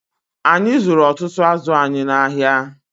Anyị zụrụ ọtụtụ azụ anyị n'ahịa